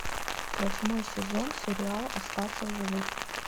восьмой сезон сериал остаться в живых